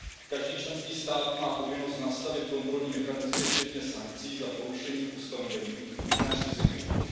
Každý členský stát má povinnost nastavit kontrolní mechanismy včetně sankcí za porušení ustanovení nařízení REACH.